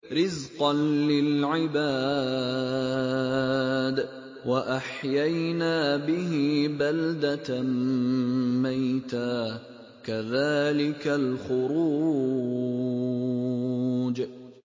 رِّزْقًا لِّلْعِبَادِ ۖ وَأَحْيَيْنَا بِهِ بَلْدَةً مَّيْتًا ۚ كَذَٰلِكَ الْخُرُوجُ